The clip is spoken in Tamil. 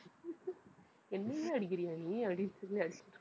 என்னையே அடிக்கிறியா நீ? அப்படினு சொல்லி அடிச்சு~